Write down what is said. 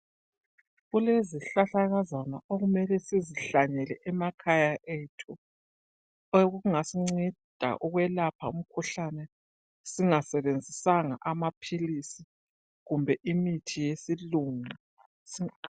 Kulezihlahlakazana okumele sizihlanyele emakhaya ethu okungasinceda ukwelapha umkhuhlane singasebenzisanga amaphilisi kumbe imithi yesilungu.